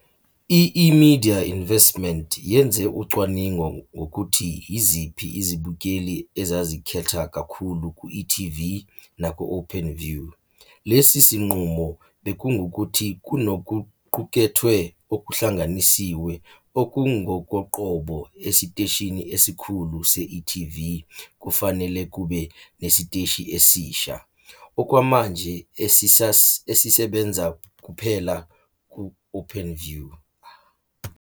I-eMedia Investment yenze ucwaningo ngokuthi yiziphi izibukeli ezazikhetha kakhulu ku-e TV naku-Openview. Lesi sinqumo bekungukuthi kunokuqukethwe okuhlanganisiwe okungokoqobo esiteshini esikhulu se-e.tv kufanele kube nesiteshi esisha, okwamanje esisebenza kuphela ku-Openview.